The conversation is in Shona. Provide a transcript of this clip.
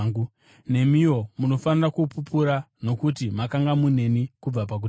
Nemiwo munofanira kupupura, nokuti makanga muneni kubva pakutanga.